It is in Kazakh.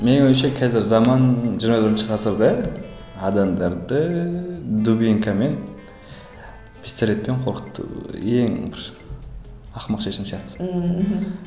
менің ойымша қазір заман жиырма бірінші ғасырда адамдарды дубинкамен пистолетпен қорқыту ең бір ақымақ шешім сияқты ммм мхм